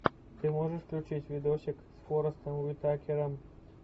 ты можешь включить видосик с форестом уитакером